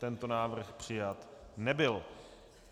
Tento návrh přijat nebyl.